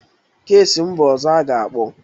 Kesi m bụ ọzọ aga-akpọ.